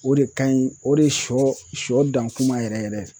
O de ka ɲi o de siyɔ siyɔ dan kuma yɛrɛ yɛrɛ.